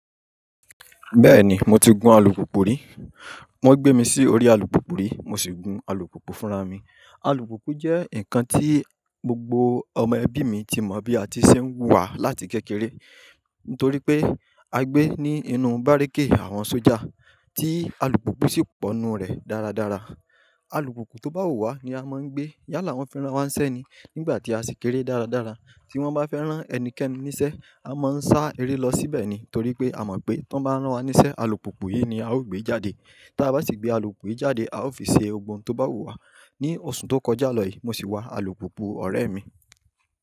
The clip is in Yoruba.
Bẹ́ẹ̀ni mo ti gun alùpùpù rí. Wọ́n gbé mi sí orí alùpùpù rí, mo sì gun alùpùpù fúnra mi. Alùpùpù jẹ́ ǹkan tí gbogbo ọmọ ẹbí tí mo bí àti ṣe ń wà láti kékeré nítorí pé a gbé ní inú bárékè àwọn sójà tí alùpùpù sì pọ̀ nínú rẹ̀ dáradára. Alùpùpù tó bá wùwá ni a máa ń gbé yálà wọn fẹ́ rán wa sẹ́ ni nígbà tí a sì kéré dáradára. Tí wọ́n bá fẹ́ rán ẹnikẹ́ni níṣẹ́, a máa ń sá eré lọ síbẹ̀ ni, torí pé a mọ̀ pé tó bá rán wa níṣẹ́, alùpùpù yìí ni a ó gbé jáde. Tí a bá sì gbé alùpùpù yìí jáde, a ó fi ṣe ọgbọ́n tó bá wù wá. Ní oṣù tó kọjá lọ yìí mo sì wa alùpùpù ọ̀rẹ́ mi.